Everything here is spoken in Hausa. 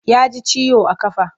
Ya ji ciwo a ƙafa.